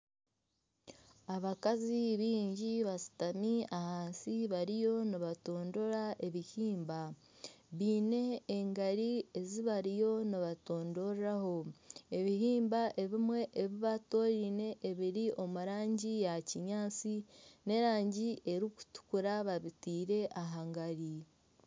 Abakazi bingi bashutami ahansi bariyo nibatondora ebihimba. Baine engari ezi bariyo nibatondoreraho. Ebihimba ebimwe ebibatondoire ebiri omu rangi ya kinyaatsi n'erangi erikutukura babiteire aha ngari.